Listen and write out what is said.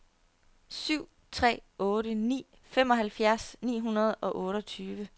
syv tre otte ni femoghalvfjerds ni hundrede og otteogtyve